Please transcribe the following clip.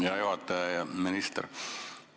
Hea juhataja!